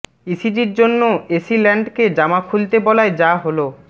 ইসিজির জন্য এসি ল্যান্ডকে জামা খুলতে বলায় যা হলো